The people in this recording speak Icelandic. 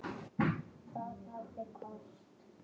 Það hafði kosti.